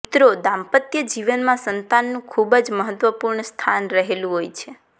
મિત્રો દાંપત્યજીવનમાં સંતાનનું ખુબ જ મહત્વપૂર્ણ સ્થાન રહેલું હોય છે